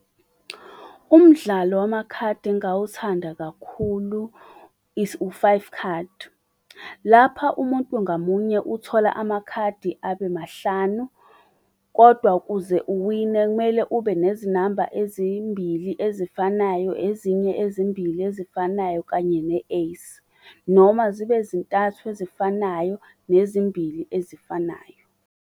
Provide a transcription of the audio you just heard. Umdlalo wamakhadi engawuthanda kakhulu is, u-five khadi. Lapha umuntu ngamunye uthola amakhadi abe mahlanu, kodwa kuze uwine kumele ube nezinamba ezimbili ezifanayo, ezinye ezimbili ezifanayo kanye ne-ace. Noma zibe zintathu ezifanayo nezimbili ezifanayo.